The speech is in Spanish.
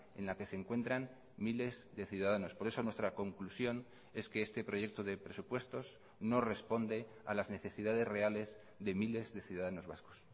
en la que se encuentran miles de ciudadanos por eso nuestra conclusión es que este proyecto de presupuestos no responde a las necesidades reales de miles de ciudadanos vascos